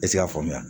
E ti se k'a faamuya